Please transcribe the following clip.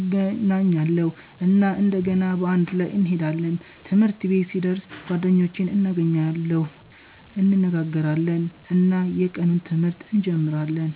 እገናኛለሁ እና እንደገና በአንድ ላይ እንሄዳለን። ትምህርት ቤት ሲደርስ ጓደኞቼን እገናኛለሁ፣ እንነጋገራለን እና የቀኑን ትምህርት እንጀምራለን።